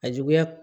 A juguya